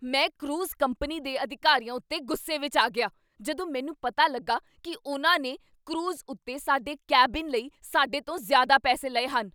ਮੈਂ cruise company ਦੇ ਅਧਿਕਾਰੀਆਂ ਉੱਤੇ ਗੁੱਸੇ ਵਿੱਚ ਆ ਗਿਆ ਜਦੋਂ ਮੈਨੂੰ ਪਤਾ ਲੱਗਾ ਕੀ ਉਨ੍ਹਾਂ ਨੇ ਕਰੂਜ਼ ਉੱਤੇ ਸਾਡੇ ਕੈਬਿਨ ਲਈ ਸਾਡੇ ਤੋਂ ਜ਼ਿਆਦਾ ਪੈਸੇ ਲਏ ਹਨ।